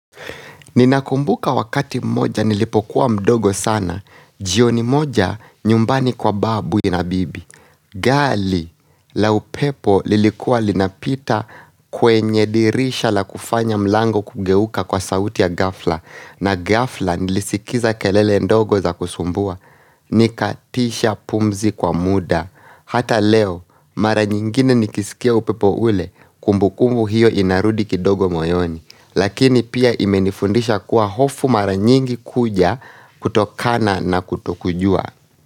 Ninakumbuka wakati moja nilipokuwa mdogo sana, jioni moja nyumbani kwa babu na bibi. Gali la upepo lilikuwa linapita kwenye dirisha la kufanya mlango kugeuka kwa sauti ya gafla. Na gafla nilisikiza kelele ndogo za kusumbua, nikatisha pumzi kwa muda. Hata leo, mara nyingine nikisikia upepo ule, kumbukumbu hiyo inarudi kidogo moyoni. Lakini pia imenifundisha kuwa hofu mara nyingi kuja kutokana na kutokujua.